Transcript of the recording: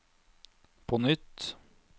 på nytt